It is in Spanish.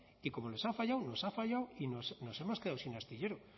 y como les ha fallado nos ha fallado y nos hemos quedado sin astillero